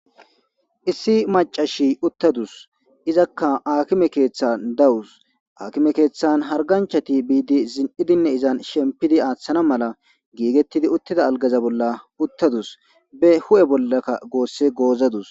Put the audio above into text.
Issi macashi uttadus izakka akime keeththan dawus aakime keeththan harganchati biidi zin'idinne izan shempidi aaththana mala giigettidi uttida algaza bolla uttadus be hu'e bollakka goosse goozadus.